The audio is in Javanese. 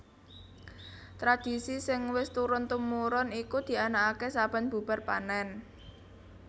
Tradhisi sing wis turun tumurun iku dianakaké saben bubar panèn